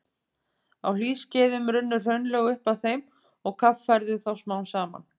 Á hlýskeiðum runnu hraunlög upp að þeim og kaffærðu þá smám saman.